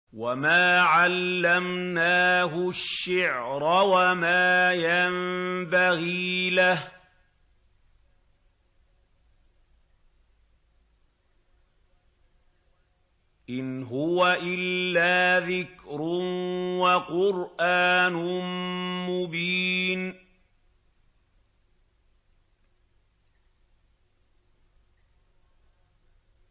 وَمَا عَلَّمْنَاهُ الشِّعْرَ وَمَا يَنبَغِي لَهُ ۚ إِنْ هُوَ إِلَّا ذِكْرٌ وَقُرْآنٌ مُّبِينٌ